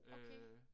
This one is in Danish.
Okay